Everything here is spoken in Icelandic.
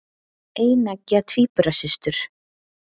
Eineggja tvíburasystur.